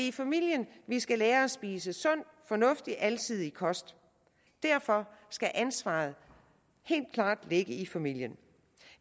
i familien vi skal lære at spise sund fornuftig og alsidig kost derfor skal ansvaret helt klart ligge i familien